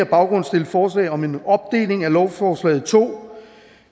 baggrund stille forslag om en opdeling af lovforslaget i to